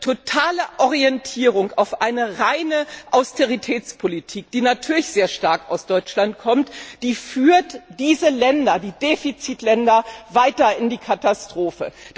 Die totale Orientierung auf eine reine Austeritätspolitik, die natürlich sehr stark aus Deutschland kommt, führt diese Defizitländer weiter in die Katastrophe.